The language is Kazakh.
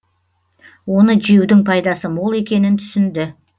оны жеудің пайдасы мол екенін түсінді